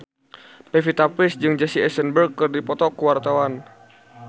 Pevita Pearce jeung Jesse Eisenberg keur dipoto ku wartawan